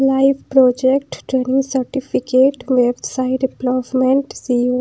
live project training certificate left side placement see _ऊ --